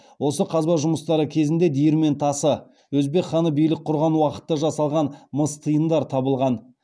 осы қазба жұмыстары кезінде диірмен тасы өзбек хан билік құрған уақытта жасалған мыс тиындар табылған